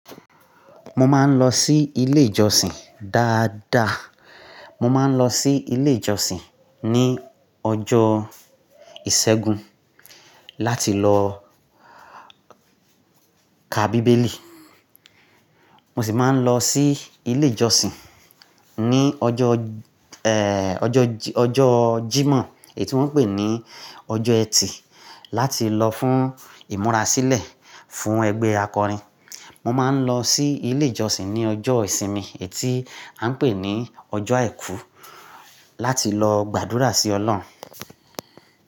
Mo máa ń lọ sí ilé ìjọsìn dáadáa. Mo máa ń lọ sí ilé ìjọsìn ní ọjọ́ ìṣẹ́gun láti lọ ka Bíbélì. Mo sì máa ń lọ sí ilé ìjọsìn ní ọjọ́, eh, ọjọ́, ọjọ́ Jímọ̀ ètí wọ́n ń pè ní ọjọ́ ẹtì láti lọ fún ìmúra sílẹ̀ fún ẹgbẹ́ akọrin. Mo máa ń lọ sí ilé ìjọsìn ní ọjọ́ ìsinmi ètí a ń pè ní ọjọ́ àìkú láti lọ gbàdúrà sí ọlọ́run.